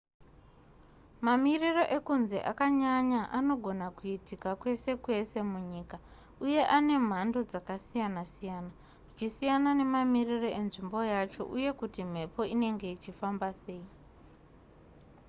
mamiriro ekunze akanyanya anogona kuitika kwese kwese munyika uye ane mhando dzakasiyana-siyana zvichisiyana nemamiriro enzvimbo yacho uye kuti mhepo inenge ichifamba sei